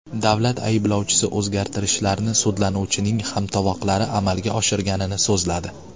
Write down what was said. Davlat ayblovchisi o‘zgartirishlarni sudlanuvchining hamtovoqlari amalga oshirganini so‘zladi.